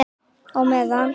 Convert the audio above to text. Á meðan